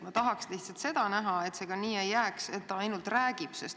Ma tahaks lihtsalt näha, et see nii ei jääks, et ainult räägitakse.